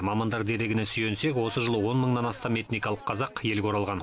мамандар дерегіне сүйенсек осы жылы он мыңнан астам этникалық қазақ елге оралған